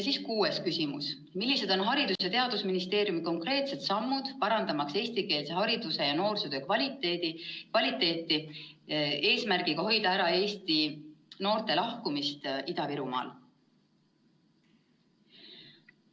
Kuues küsimus: "Millised on Haridus- ja Teadusministeeriumi konkreetsed sammud, parandamaks eestikeelse hariduse ja noorsootöö kvaliteeti eesmärgiga hoida ära Eesti noorte lahkumist Ida-Virumaalt?